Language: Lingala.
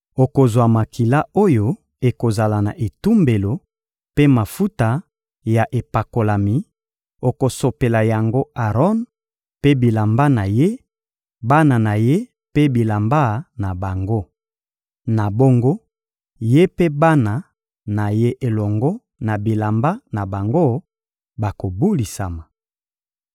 Okozwa makila oyo ekozala na etumbelo mpe mafuta ya epakolami, okosopela yango Aron mpe bilamba na ye, bana na ye mpe bilamba na bango. Na bongo, ye mpe bana na ye elongo na bilamba na bango bakobulisama.